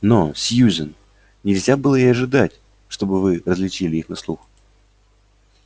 но сьюзен нельзя было и ожидать чтобы вы различили их на слух